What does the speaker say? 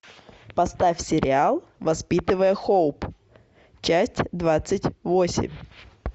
поставь сериал воспитывая хоуп часть двадцать восемь